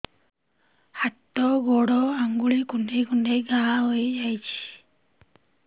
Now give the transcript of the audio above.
ହାତ ଗୋଡ଼ ଆଂଗୁଳି କୁଂଡେଇ କୁଂଡେଇ ଘାଆ ହୋଇଯାଉଛି